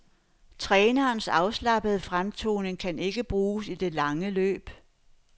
Trænerens afslappede fremtoning kan ikke bruges i det lange løb.